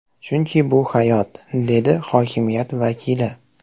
Chunki bu hayot”, dedi hokimiyat vakili.